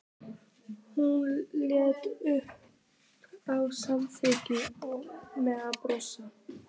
Hún leit upp og samþykkti með brosi.